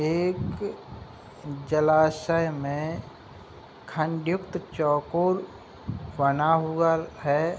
एक जलाशय में खंडित चौकोर बना हुआ है।